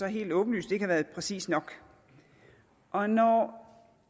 helt åbenlyst ikke har været præcis nok og når